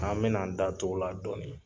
An bɛ na an da tu o la dɔɔni.